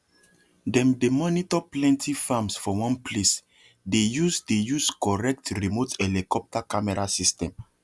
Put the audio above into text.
them dey monitor plenty farms for one placethey use dey use correct remote helicopter camera system